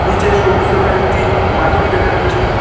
নিচে সবুজ রঙের একটি মাদুর দেখা যাচ্ছে।